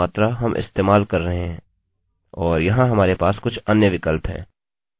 और यहाँ हमारे पास कुछ अन्य विकल्प हैं